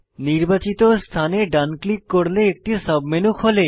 নির্বাচিত স্থানে ডান ক্লিক করলে একটি সাবমেনু খোলে